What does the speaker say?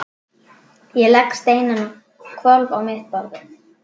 Ég legg steininn á hvolf á mitt borðið.